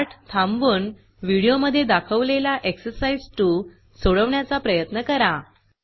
पाठ थांबवून व्हिडिओ मधे दाखवलेला एक्झरसाईज 2 सोडवण्याचा प्रयत्न करा